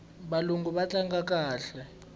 valungu va tlanga kahle